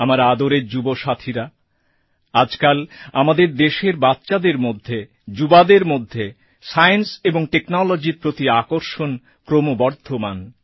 আমার আদরের যুব সাথীরা আজকাল আমাদের দেশের বাচ্চাদের মধ্যে যুবাদের মধ্যে সায়েন্স এবং technologyর প্রতি আকর্ষণ ক্রমবর্ধমান